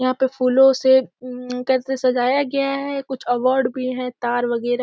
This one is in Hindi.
यहाँ पे फूलों से उम्म से कैसे सजाया गया है कुछ अवॉर्ड भी हैं । तार वगैरा --